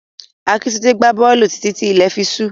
Akíntúndé gbá bọ́ọ̀lù títí tí ilẹ̀ fi ṣú.